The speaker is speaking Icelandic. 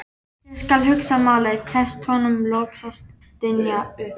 Ég skal hugsa málið, tekst honum loks að stynja upp.